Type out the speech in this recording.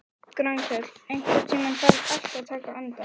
Grankell, einhvern tímann þarf allt að taka enda.